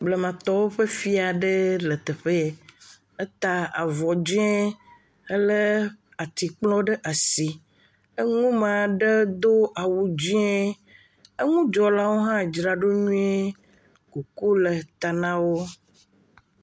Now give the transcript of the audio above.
Blamatɔwo ƒe fia aɖe le teƒe ye, eta avɔ dzɛ̃ helé atikplɔ ɖe asi, eŋume aɖe do awu dzɛ̃, eŋudzraɖolawo aɖe hã dzra ɖo nyui, kuku le ta na wo.